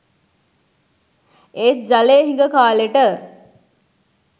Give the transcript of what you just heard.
ඒත් ජලය හිඟ කාලෙට